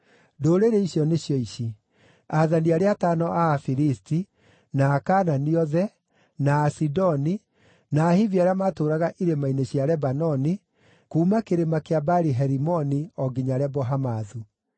Ndũrĩrĩ icio nĩcio ici: aathani arĩa atano a Afilisti, na Akaanani othe, na Asidoni, na Ahivi arĩa maatũũraga irĩma-inĩ cia Lebanoni kuuma Kĩrĩma kĩa Baali-Herimoni o nginya Lebo-Hamathu.